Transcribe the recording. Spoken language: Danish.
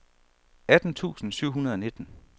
atten tusind syv hundrede og nitten